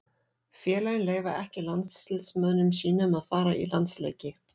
Félögin leyfa ekki landsliðsmönnum sínum að fara í landsleiki.